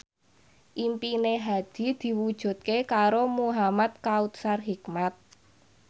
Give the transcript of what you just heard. impine Hadi diwujudke karo Muhamad Kautsar Hikmat